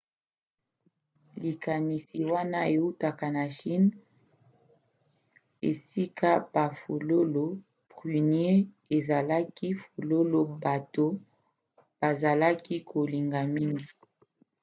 likanisi wana eutaka na chine esika bafololo prunier ezalaki fololo bato bazalaki kolinga mingi